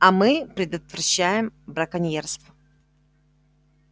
а мы предотвращаем браконьерство